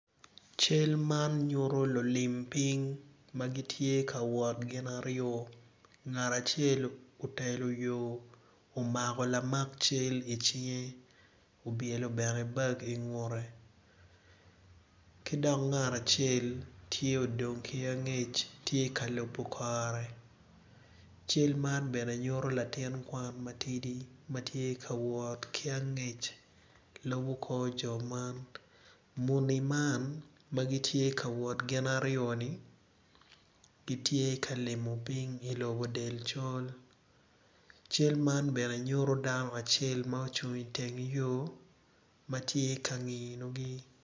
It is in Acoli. Man jami ma kiketogi kun jami man tye ma kiketogi i ot mading adada kun i kin jami magi tye odero ma kicweyo acweya med ki aditi bene ma kicweyo acweya kun i ot man tye matar